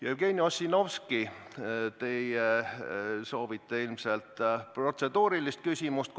Jevgeni Ossinovski, teie soovite ilmselt protseduurilist küsimust esitada.